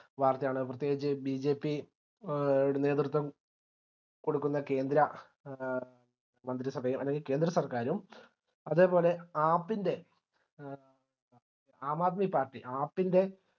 വാർത്തയാണ് പ്രത്യേകിച്ച് BJP എ നേതൃത്വം കൊടുക്കുന്ന കേന്ദ്ര എ മന്ത്രിസഭയും അതായത് കേന്ദ്ര സർക്കാരും അതേപോലെ AAP ൻറെ ആം ആദ്മി partyAAP ൻറെ